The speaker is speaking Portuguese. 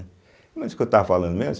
Não é isso que eu estava falando mesmo?